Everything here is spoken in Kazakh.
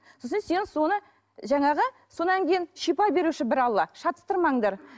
сосын сен соны жаңағы содан кейін шипа беруші бір алла шатастырмаңдар